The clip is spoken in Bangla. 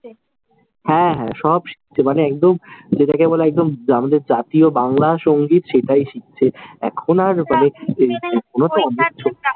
হ্যাঁ হ্যাঁ, সব শিখছে। মানে একদম যেটাকে বলে একদম আমাদের জাতীয় বাংলা সঙ্গীত সেটাই শিখছে। এখন আর